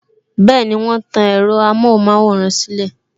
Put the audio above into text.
Bẹẹni, wọn tan ẹ̀rọ amohun maworan silẹ